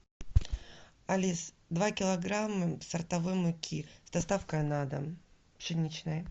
алис два килограмма сортовой муки с доставкой на дом пшеничной